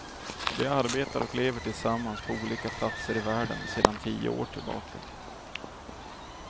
De arbetar och lever tillsammans på olika platser i världen sedan tio år tillbaka.